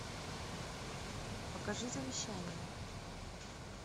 покажи завещание